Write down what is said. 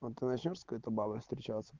вот начнём с какой-то бабой встречаться